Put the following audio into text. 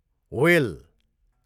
whale